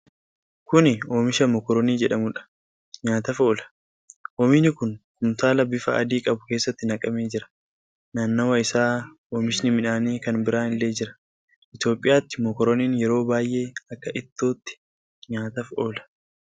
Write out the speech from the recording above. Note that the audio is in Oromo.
Kuni oomisha mokoronii jedhamudha. Nyaataaf oola. Oomishni kun kumtaala bifa adii qabu keessatti naqamee jira. Naannawa isaa oomishi midhaanii kan biraan illee jira. Itoophiyaatti mokoroniin yeroo baay'ee akka ittootti nyaataf oola.